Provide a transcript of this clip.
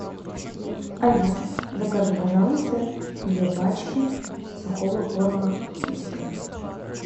алиса закажи пожалуйста две пачки сухого корма китекет